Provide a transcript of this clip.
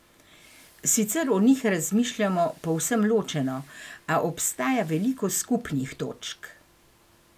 Sicer o njih razmišljamo povsem ločeno, a obstaja veliko skupnih točk.